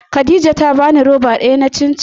Khadija ta bani roba daya ta cin cin.